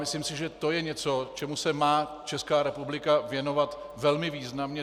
Myslím si, že to je něco, čemu se má Česká republika věnovat velmi významně.